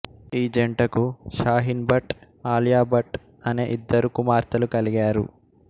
ఈ జంటకు షాహీన్ భట్ ఆలియా భట్ అనే ఇద్దరు కుమార్తెలు కలిగారు